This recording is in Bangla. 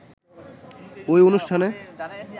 ওই অনুষ্ঠানে